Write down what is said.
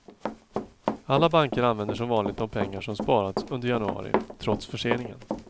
Alla banker använder som vanligt de pengar som sparats under januari, trots förseningen.